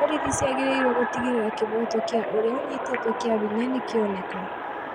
Borithi ciagĩrĩirũo gũtigĩrĩra kĩhoto kĩa ũrĩa ũnyitĩtwo kĩa hinya nĩkĩoneka